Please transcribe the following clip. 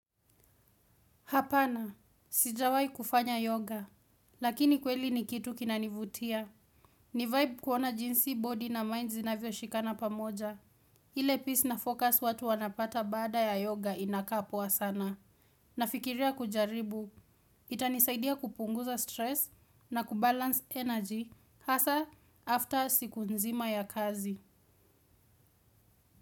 Hapana, sijawai kufanya yoga, lakini kweli ni kitu kinanivutia. Ni vibe kuona jinsi body na mind zinavyo shikana pamoja. Ile peace na focus watu wanapata baada ya yoga inakaa poa sana. Nafikiria kujaribu, itanisaidia kupunguza stress na kubalance energy, hasa after siku nzima ya kazi.